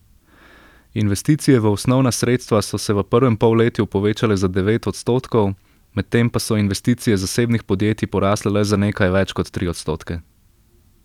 Investicije v osnovna sredstva so se v prvem polletju povečale za devet odstotkov, medtem pa so investicije zasebnih podjetij porasle le za nekaj več kot tri odstotke.